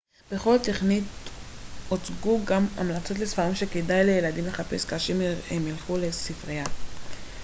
בכל תכנית הוצגו גם המלצות לספרים שכדאי לילדים לחפש כאשר הם ילכו לספריה